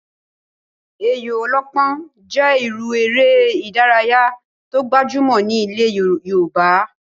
Ayò ọlọ́pọ́n jẹ́ irú eré ìdárayá tó gbajúmọ̀ ní ilẹ̀ yoòbá